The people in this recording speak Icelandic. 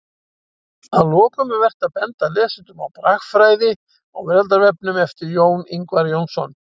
Að lokum er vert að benda lesendum á Bragfræði á veraldarvefnum eftir Jón Ingvar Jónsson.